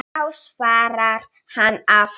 Já svarar hann aftur.